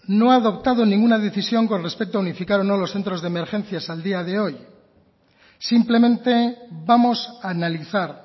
no ha adoptado ninguna decisión con respecto a unificar o no lo centros de emergencias al día de hoy simplemente vamos a analizar